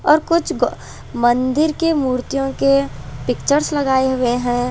और कुछ गो मंदिर के मूर्तियों के पिक्चर लगाए हुए हैं।